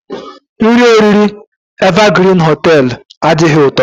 Nri oriri Evergreen hoteelu adighị ụtọ.